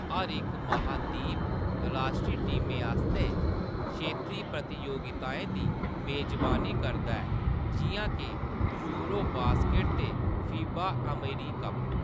हर इक महादीप राश्ट्री टीमें आस्तै क्षेत्री प्रतियोगिताएं दी मेजबानी करदा ऐ, जिʼयां के यूरो बास्केट ते फीबा ​​अमेरिकप।